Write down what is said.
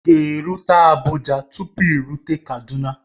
Ị ga-erute Abuja tupu i rute Kaduna